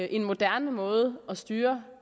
en moderne måde at styre